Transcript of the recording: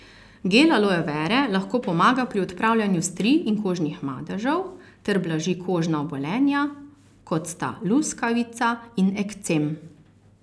Gel aloe vere lahko pomaga pri odpravljanju strij in kožnih madežev ter blaži kožna obolenja, kot sta luskavica in ekcem.